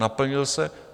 Naplnil se?